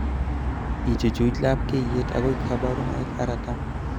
ichuch labkeyet agoi kabarunoik aratam